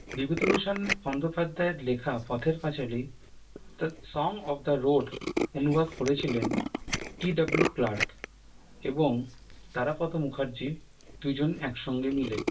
বিভূতিভূষণ বন্দ্যোপাধ্যায়ের লেখা Pather Panchali the song of the road অনুবাদ করেছিলেন টি ডব্লু ক্লার্ক এবং তারাপদ মুখার্জী দুজন এসঙ্গে মিলে